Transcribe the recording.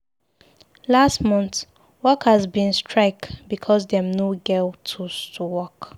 Last mont, workers bin strike because dem no get tools to work.